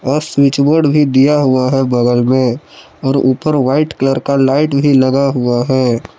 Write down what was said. और स्विचबोर्ड भी दिया हुआ है बगल में और ऊपर व्हाइट कलर का लाइट भी लगा हुआ है।